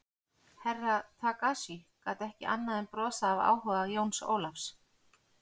Herra Takashi gat ekki annað en brosað af áhuga Jóns Ólafs.